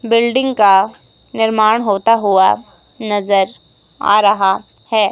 Building का निर्माण होता हुवा नजर आ रहा है।